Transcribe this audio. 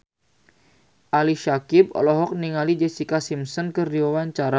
Ali Syakieb olohok ningali Jessica Simpson keur diwawancara